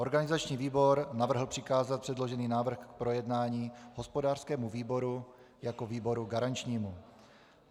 Organizační výbor navrhl přikázat předložený návrh k projednání hospodářskému výboru jako výboru garančnímu.